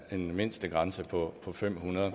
en mindstegrænse på fem hundrede